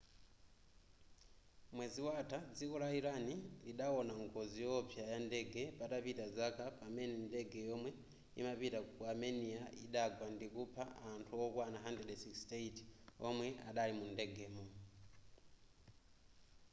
mwezi watha dziko la iran lidaona ngozi yowopsa yandege patapita zaka pamene ndege yomwe imapita ku armenia idagwa ndikupha anthu okwana 168 omwe adali mundegemo